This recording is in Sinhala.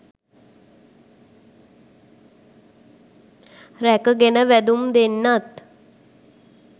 රැක ගෙන වැදුම් දෙන්නත්